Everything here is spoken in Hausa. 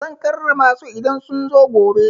Zan karrama su idan sun zo gobe.